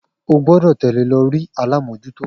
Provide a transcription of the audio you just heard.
O gbọ́dọ̀ tẹ̀lẹ́ lọ ri alámòjútó